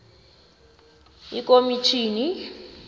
ikomitjhini